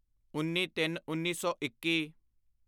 ਉੱਨੀਤਿੰਨਉੱਨੀ ਸੌ ਇੱਕੀ